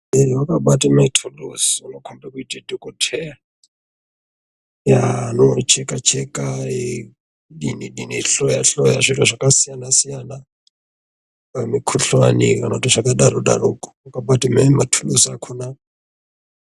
Munhu akabata maturuzi anokombidza kuita dhokodheya anocheka Cheka eidini eihloya zviro zvakasiyana nemikuhlani zvakadaroko akabata nematuruzi akona.